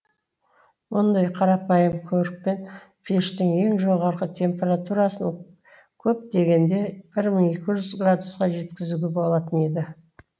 мұндай қарапайым көрікпен пештің ең жоғары температурасын көп дегенде бір мың екі жүз градусқа жеткізуге болатын еді